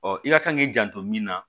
i ka kan k'i janto min na